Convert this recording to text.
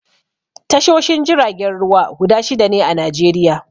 Tashoshin jiragen ruwa guda shida ne a Najeriya.